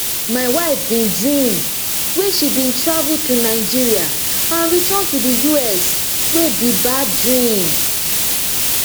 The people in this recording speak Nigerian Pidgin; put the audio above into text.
my wife bin dream wia she bin travel to nigeria and return to di us wey be bad dream